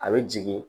A bɛ jigin